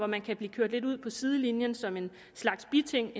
man kan blive kørt lidt ud på sidelinjen som en slags biting